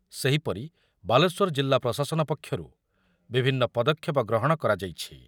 ସେହିପରି ବାଲେଶ୍ୱର ଜିଲ୍ଲା ପ୍ରଶାସନ ପକ୍ଷରୁ ବିଭିନ୍ନ ପଦକ୍ଷେପ ଗ୍ରହଣ କରାଯାଇଛି ।